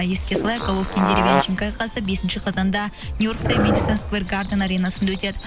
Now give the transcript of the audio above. еске салайық головкин деревянченко айқасы бесінші қазанда нью йоркте мэдисон сквер гарден аренасында өтеді